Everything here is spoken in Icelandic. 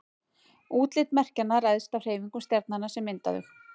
útlit merkjanna ræðst af hreyfingum stjarnanna sem mynda þau